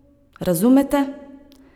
Razumete?